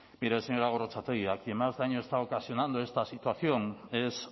mire señora gorrotxategi a quien más daño está ocasionando esta situación es